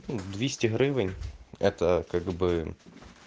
двести гривень это как бы